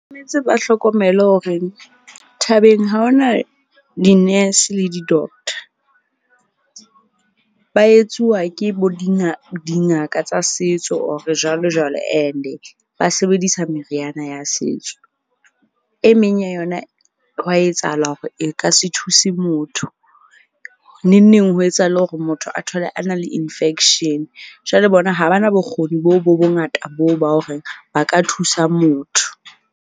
Ba hlokomele horeng thabeng ha ho na di-nurse le di-doctor. Ba etsuwa ke bo dingaka tsa setso or jwalo jwalo, ene ba sebedisa meriana ya setso. E meng ya yona hwa etsahala hore e ka se thuse motho. Neng neng ho etsahale hore motho a thole a na le infection. Jwale bona ha ba na bokgoni boo bo bongata boo ba hore ba ka thusa motho.